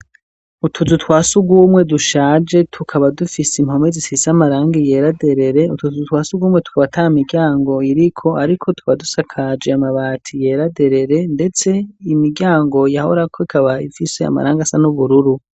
Utuzu twa sugumwe dushaje tukaba dufise impome zisize amarangi yera derere, utwo tuzu twa sugumwe tukaba ata miryango iriko ariko tuba dusakaje amabati yeraderere ndetse imiryango yahorako ikaba ifise amarangi asa n'ubururu.